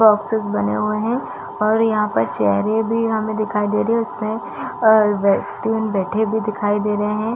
Boxes बने हुए है और यहाँ पर चेयरे भी हमें दिखाई दे रही है उसमे अ-ब तीन बैठे भी दिखाई दे रहै है।